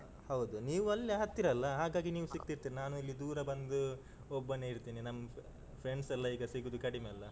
ಹೌದು, ನೀವು ಅಲ್ಲೇ ಹತ್ತಿರ ಅಲ್ಲ, ಹಾಗಾಗಿ ನೀವು ಸಿಕ್ತಿರ್ತೀರಿ ನಾನು ಇಲ್ಲಿ ದೂರ ಬಂದು ಒಬ್ಬನೇ ಇರ್ತೀನಿ ನಮ್ friends ಎಲ್ಲ ಈಗ ಸಿಗುದು ಕಡಿಮೆ ಅಲ್ಲ.